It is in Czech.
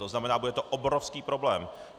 To znamená, bude to obrovský problém.